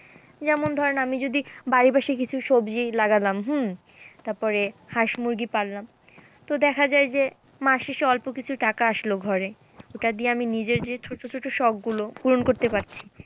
যেমন ধরেন আমি যদি বাড়ির পাশাপাশি সবজি লাগলাম হম তারপরে হাঁস মুরগি পাললাম তো দেখা যায় যে মাস শেষে অল্প কিছু টাকা আসলো ঘরে, সেটা দিয়ে আমি নিজের যে ছোট ছোট শখগুলো পূরণ করতে পারছি